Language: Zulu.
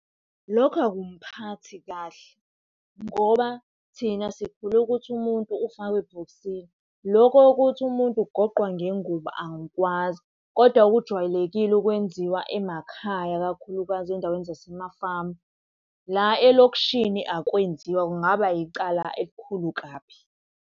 Lokho akumphathi kahle ngoba thina sikhule ukuthi umuntu ufakwe ebhokisini. Lokhu kokuthi umuntu ugoqwa ngengubo angikwazi. Kodwa okujwayelekile ukwenziwa emakhaya kakhulukazi endaweni zasemafamu. La elokishini akwenziwa kungaba icala elikhulu kabi.